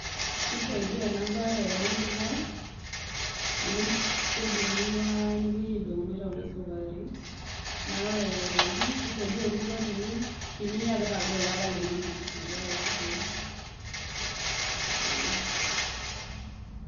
Keisaaidia enabaye ele kikwa amu kedung'i nepuoi neitauni sukari naa ore aitoki keisaidia orkikwa teninyia peitagol ilala linonok metaa kegoli ,eeh.